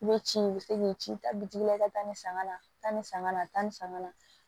I bɛ ci i bɛ se k'i ci ta bitigi la i ka taa ni sanga nata ni sanga na taa ni sanga na